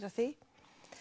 að því